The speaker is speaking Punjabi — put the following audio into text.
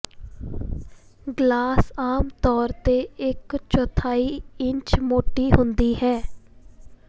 ਗਲਾਸ ਆਮ ਤੌਰ ਤੇ ਇਕ ਚੌਥਾਈ ਇੰਚ ਮੋਟੀ ਹੁੰਦੀ ਹੈ